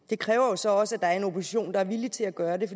det kræver jo så også at der er en opposition der er villig til at gøre det